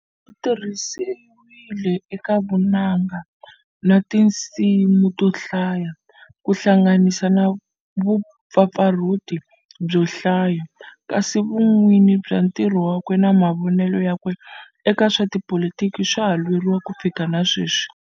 Utirhisiwile eka vunanga na tinsimu to hlaya, kuhlanganisa na vupfapfarhuti byohlaya, kasi vun, winyi bya ntirho wakwe na mavonele yakwe eka swa tipolitiki swa ha lweriwa kufikela na sweswi.